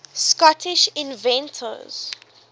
scottish inventors